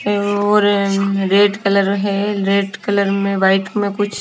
और red colour है red colour में वाइट में कुछ।